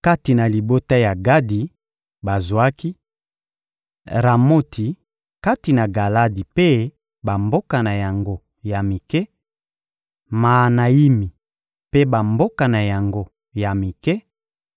Kati na libota ya Gadi, bazwaki: Ramoti kati na Galadi mpe bamboka na yango ya mike, Maanayimi mpe bamboka na yango ya mike,